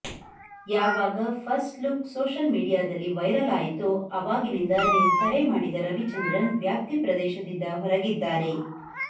ಯಾವಾಗ first look social ಮೀಡಿಯಾದಲ್ಲಿ viral ಆಯಿತೋ ಆವಾಗಿನಿಂದ ನೀವು ಕರೆ ಮಾಡಿದ ರವಿಚಂದ್ರನ್ ವ್ಯಾಪ್ತಿ ಪ್ರದೇಶದಿಂದ ಹೊರಗಿದ್ದಾರೆ